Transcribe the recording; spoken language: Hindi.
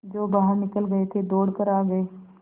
जो बाहर निकल गये थे दौड़ कर आ गये